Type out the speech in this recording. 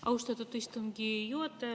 Austatud istungi juhataja!